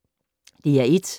DR1